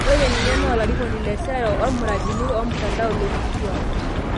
Ore ninye naa olarikoni le sera omiradini emtandao lonkituak.